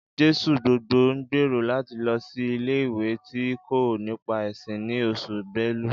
Jesugbogbo ń gbèrò láti lọ sí ilé-ìwé tí ń kọ́ nípa ẹ̀sìn ni Oṣù belú